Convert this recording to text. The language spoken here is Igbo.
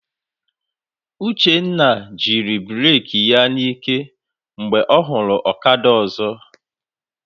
Uchenna jiri bureki ya n'ike mgbe ọ hụrụ ọkada ọzọ.